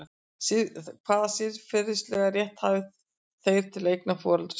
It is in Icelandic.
Hvaða siðferðilega rétt hafa þeir til eigna foreldra sinna?